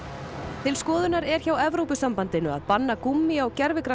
til skoðunar er hjá Evrópusambandinu að banna gúmmí á